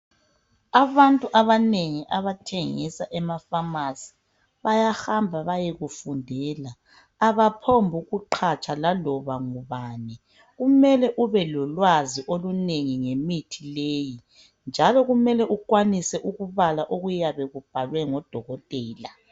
Abantu abanengi abathengisa ema pharmacy bayahamba bayekufundela abaphombu ukuqhatsha laloba ngubani kumele ube lolwazi ngemithi leyi njalo kumele ukwanise ukubala okuyabe kubhalwe ngudokotela.